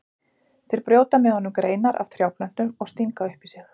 Þeir brjóta með honum greinar af trjáplöntum og stinga upp í sig.